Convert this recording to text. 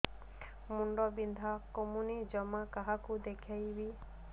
ମୁଣ୍ଡ ବିନ୍ଧା କମୁନି ଜମା କାହାକୁ ଦେଖେଇବି